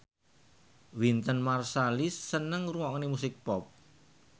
Wynton Marsalis seneng ngrungokne musik pop